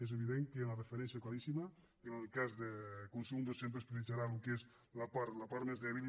és evident que hi ha una referència claríssima i en el cas de consum doncs sempre es prioritzarà el que és la part més dèbil